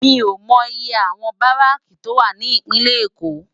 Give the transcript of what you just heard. Mi ó mò iyé áwòn báráki tó wá ni Ipinlè Ékó